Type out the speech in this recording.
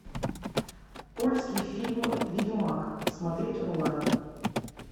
польский фильм ведьмак смотреть онлайн